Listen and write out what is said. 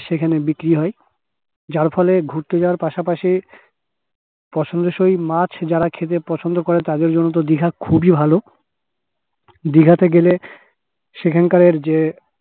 সেখানে বিক্রি হয় যার ফলে ঘুরতে যাওয়ার পাশাপাশি পছন্দ সই মাছ যারা খেতে পছন্দ করে তাদের জন্য দিঘা খুবই ভালো দিঘা তে গেলে সেখানকার যে